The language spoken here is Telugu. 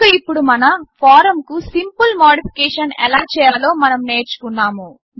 కనుక ఇప్పుడు మన ఫారమ్కు సింపుల్ మాడిఫికేషన్ ఎలా చేయాలో మనం నేర్చుకున్నాము